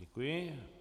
Děkuji.